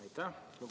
Aitäh!